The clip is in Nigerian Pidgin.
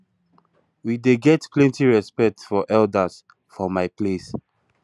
we dey get plenty respect for elders for my place